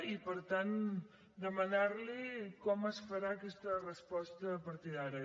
i per tant demanar li com es farà aquesta resposta a partir d’ara